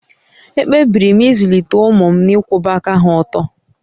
Ekpebiri m izụlite ụmụ m n'ịkwụba aka há ọ̀tọ́